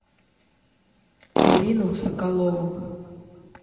ирину соколову